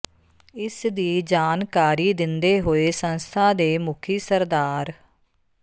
ਇਸ ਦੀ ਜਾਨਕਾਰੀ ਦਿੰਦੇ ਹੋਏ ਸੰਸਥਾ ਦੇ ਮੁਖੀ ਸ੍ਰ